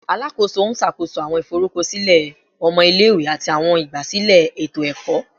Alakoso n ṣakoso awọn iforukọsilẹ ọmọ ile-iwe ati awọn igbasilẹ eto-ẹkọ